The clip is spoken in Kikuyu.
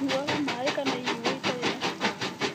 Nyuaga maĩ kana inyuo itarĩ na cukari